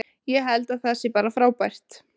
Ég held að það sé bara frábært.